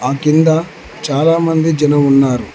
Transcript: ఆ కింద చాలా మంది జనం ఉన్నారు.